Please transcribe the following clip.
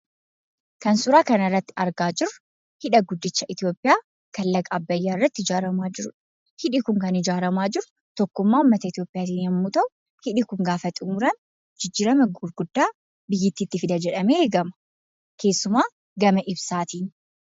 Kan suuraa kanarratti argaa jirru hidha guddicha Itoophiyaa kan Laga Abbayyaa irratti ijaaramaa jirudha. Hidhi kun ijaaramaa jiru tokkummaa uummata Itoophiyaatiin yommuu ta'u, hidhi kun gaafa xumuramu jijjiirama gurguddaa biyyittiitti fida jedhamee eegama; keessumaa gama ibsaatiin.